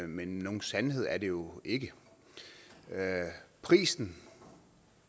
men nogen sandhed er det jo ikke prisen